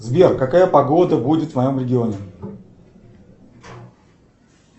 сбер какая погода будет в моем регионе